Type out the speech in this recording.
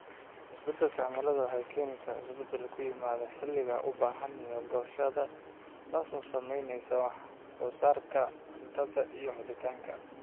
Isbeddelka cimiladu waxay keenaysaa isbeddel ku yimaada xilliga ubaxa iyo goosashada, taasoo saamaysa wax soo saarka cuntada iyo helitaanka.